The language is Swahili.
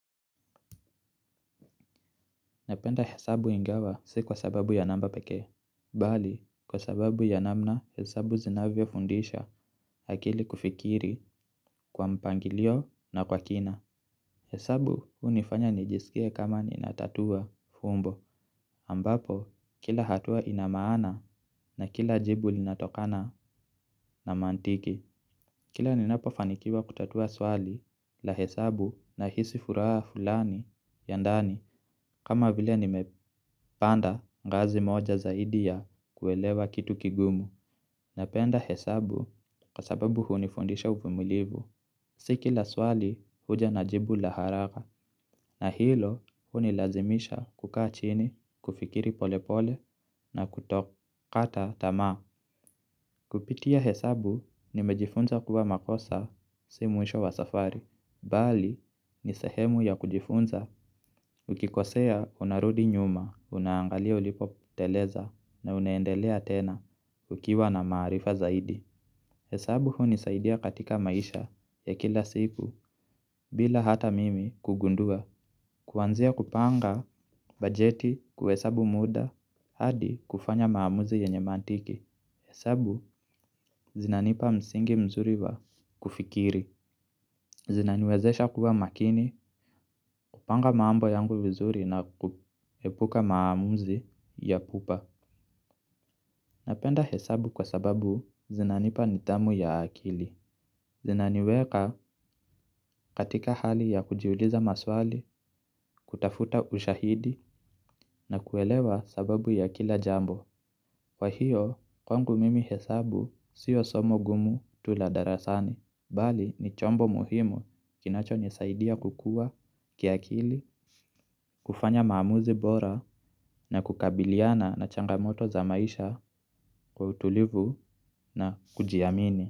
Napenda hesabu ingawa si kwa sababu ya namba peke. Bali kwa sababu ya namna hesabu zinavyo fundisha akili kufikiri kwa mpangilio na kwa kina hesabu hunifanya nijisikie kama ninatatua fumbo ambapo kila hatua inamaana na kila jibu linatokana na mantiki. Kila ninapofanikiwa kutatua swali la hesabu nahisi furaha fulani ya ndani kama vile nimepanda ngazi moja zaidi ya kuelewa kitu kigumu. Napenda hesabu kwa sababu hunifundisha uvumilivu. Si kila swali huja na jibu la haraka na hilo hunilazimisha kukaa chini, kufikiri polepole na kutokata tamaa. Kupitia hesabu nimejifunza kuwa makosa si mwisho wa safari, bali ni sahemu ya kujifunza ukikosea unarudi nyuma, unaangalia ulipo poteleza na unaendelea tena ukiwa na maarifa zaidi. Hesabu hunisaidia katika maisha ya kila siku bila hata mimi kugundua. Kuanzia kupanga bajeti kuhesabu muda hadi kufanya hesabu ya kimantiki hesabu zinanipa msingi mzuri wa kufikiri. Zinaniwezesha kuwa makini kupanga mambo yangu vizuri na kuepuka maamuzi ya pupa. Napenda hesabu kwa sababu zinanipa nitamu ya akili. Zinaniweka katika hali ya kujiuliza maswali, kutafuta ushahidi na kuelewa sababu ya kila jambo. Kwa hiyo, kwangu mimi hesabu siyo somo gumu tu la darasani. Bali ni chombo muhimu kinacho nisaidia kukua, kiakili, kufanya maamuzi bora na kukabiliana na changamoto za maisha kwa utulivu na kujiamini.